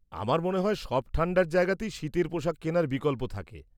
আমার মনে হয় সব ঠান্ডার জায়গাতেই শীতের পোশাক কেনার বিকল্প থাকে।